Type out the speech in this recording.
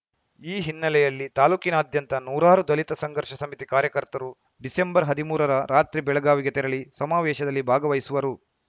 ಈ ಹಿನ್ನೆಲೆಯಲ್ಲಿ ತಾಲೂಕಿನಾದ್ಯಂತ ನೂರಾರು ದಲಿತ ಸಂಘರ್ಷ ಸಮಿತಿ ಕಾರ್ಯಕರ್ತರು ಡಿಸೆಂಬರ್ ಹದಿಮೂರರ ರಾತ್ರಿ ಬೆಳಗಾವಿಗೆ ತೆರಳಿ ಸಮಾವೇಶದಲ್ಲಿ ಭಾಗವಹಿಸುವರು